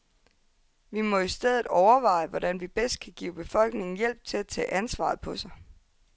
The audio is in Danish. Vi må i stedet overveje, hvordan vi bedst kan give befolkningen hjælp til at tage ansvaret på sig.